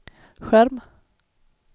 skärm